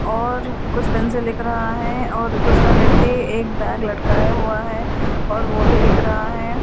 और कुछ पेन से लिख रहा है और दूसरा व्यक्ति एक बैग लटकाया हुआ है और वह भी लिख रहा है।